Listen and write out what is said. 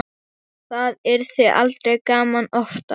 Það yrði aldrei gaman oftar.